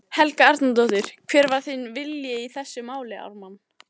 Helga Arnardóttir: Hver var þinn vilji í þessu máli, Ármann?